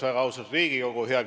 Väga austatud Riigikogu!